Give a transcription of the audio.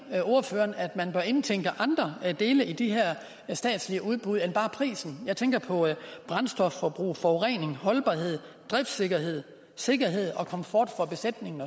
ordføreren at man bør indtænke andre dele i de her statslige udbud end bare prisen jeg tænker på brændstofforbrug forurening holdbarhed driftssikkerhed sikkerhed og komfort for besætningen